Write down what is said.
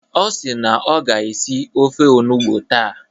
Ọ si na ọ ga-esi ofe onugbo taa.